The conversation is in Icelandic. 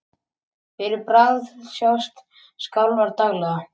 Fyrir bragðið sjást skjálftar daglega.